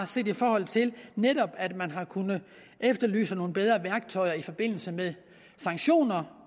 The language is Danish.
set i forhold til at man har kunnet efterlyse nogle bedre værktøjer i forbindelse med sanktioner